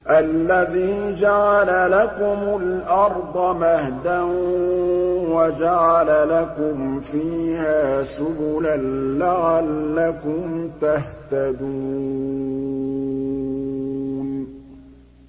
الَّذِي جَعَلَ لَكُمُ الْأَرْضَ مَهْدًا وَجَعَلَ لَكُمْ فِيهَا سُبُلًا لَّعَلَّكُمْ تَهْتَدُونَ